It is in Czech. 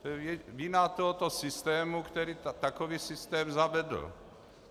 To je vina tohoto systému, který takový systém zavedl.